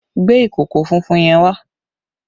Gbé ìkòkò funfun yẹn wá!